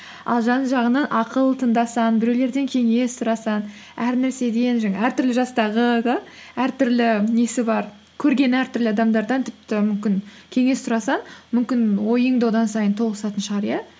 ал жан жағыңнан ақыл тыңдасаң біреулерден кеңес сұрасаң әр нәрседен жаңағы әртүрлі жастағы да әртүрлі несі бар көрген әртүрлі адамдардан тіпті мүмкін кеңес сұрасаң мүмкін ойың да одан сайын тоғысатын шығар иә